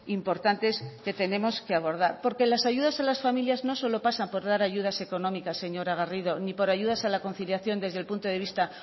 importantes que tenemos que abordar porque las ayudas a las familias no solo pasa por dar ayudas económicas señora garrido ni por ayudas a la conciliación desde el punto de vista